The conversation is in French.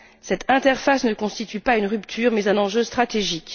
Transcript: Cette interface ne constitue pas une rupture mais un enjeu stratégique.